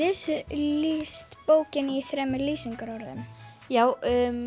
lýst bókinni í þremur lýsingarorðum já